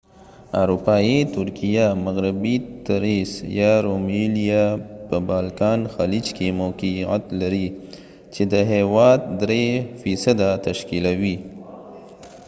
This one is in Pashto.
اروپایي ترکیه مغربي تریس یا رومیلیا به بالکان خلیج کې موقیعت لری چې د هیواد %3 تشکیلوی